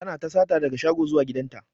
Tana ta sata daga shago zuwa gidan ta.